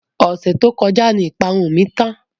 Ọ̀sẹ̀ tó kọjá ni ìparun mi tán.